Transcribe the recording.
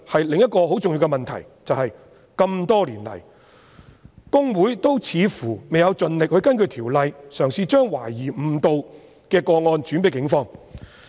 另一個很重要的問題是，這麼多年來，公會似乎未有盡力根據《條例》，嘗試將懷疑誤導的個案轉介警方。